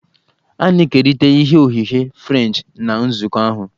A na-ekerịta ihe oghighe Frenchi na nzukọ ahụ